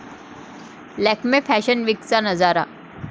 Lakme fashion वीकचा नजारा